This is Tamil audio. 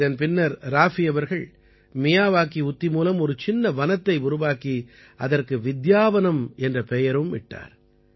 இதன் பின்னர் ராஃபி அவர்கள் மியாவாகி உத்தி மூலம் ஒரு சின்ன வனத்தை உருவாக்கி அதற்கு வித்யாவனம் என்ற பெயரும் இட்டார்